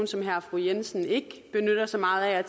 som herre og fru jensen ikke benytter sig meget af